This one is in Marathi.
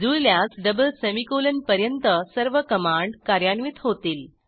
जुळल्यास डबल सेमीकोलन पर्यंत सर्व कमांड कार्यान्वित होतील